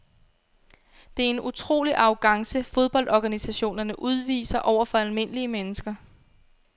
Det er en utrolig arrogance fodboldorganisationerne udviser over for almindelige mennesker.